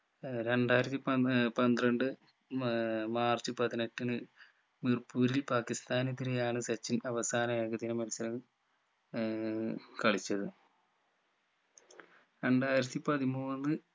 ഏർ രണ്ടായിരത്തി പൻ ഏർ പന്ത്രണ്ട് ഏർ മാർച്ച് പതിനെട്ടിന് മിർപ്പൂരിൽ പാകിസ്താനെതിരെയാണ് സച്ചിൻ അവസാന ഏകദിന മത്സരം ഏർ കളിച്ചത് രണ്ടായിരത്തി പതിമൂന്ന്